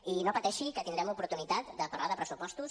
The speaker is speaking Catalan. i no pateixi que tindrem l’oportunitat de parlar de pressupostos